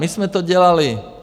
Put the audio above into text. My jsme to dělali.